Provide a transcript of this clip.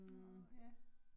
Nåh ja